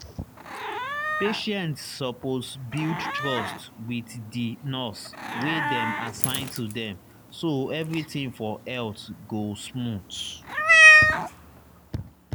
patients suppose build trust wit di nurse wey dem assign to dem so everything for health go smooth.